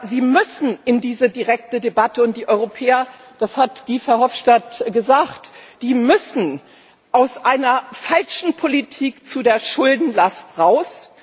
Sie müssen in diese direkte Debatte, und die Europäer das hat Guy Verhofstadt gesagt müssen aus einer falschen Politik zu der Schuldenlast heraus.